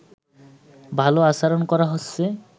ভালো আচরণ করা হচ্ছে